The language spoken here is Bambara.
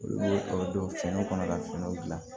Olu dɔw fɛnɛ kɔnɔ ka finiw gilan